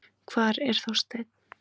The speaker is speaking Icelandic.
Hvar er Þorsteinn?